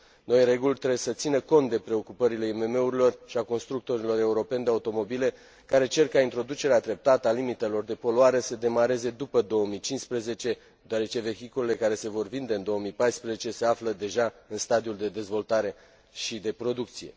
Noile reguli trebuie să țină cont de preocupările IMM urilor și ale constructorilor europeni de automobile care cer ca introducerea treptată a limitelor de poluare să demareze după 2015, deoarece vehiculele care se vor vinde în 2014 se află deja în stadiul de dezvoltare și de producție.